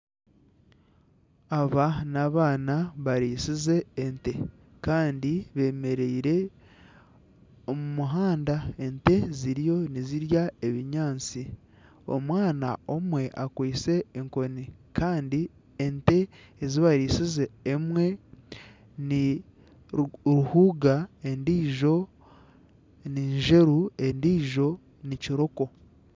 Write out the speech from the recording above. Aba n'abaana bariisize ente kandi bemereire omu muhanda ente ziriyo nizirya ebinyaatsi omwana omwe akwaitse enkooni kandi ente ezi bariisize emwe niruhuuga endiijo ninzeru endiijo nikiroko.